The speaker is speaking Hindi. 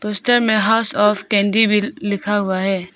ऊपर में हाउस ऑफ कैंडी भी लिखा हुआ है।